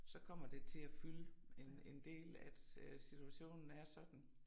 Så kommer det til at fylde en en del at øh situationen er sådan